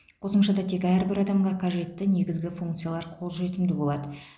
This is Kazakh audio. қосымшада тек әрбір адамға қажетті негізгі функциялар қолжетімді болады